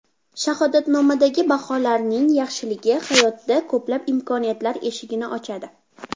Shahodatnomadagi baholarning yaxshiligi hayotda ko‘plab imkoniyatlar eshigini ochadi.